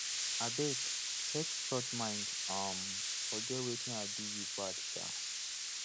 abeg take church mind um forget wetin i do you bad um